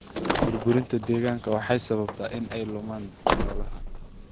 Burburinta deegaanka waxay sababtaa in ay lumaan noolaha.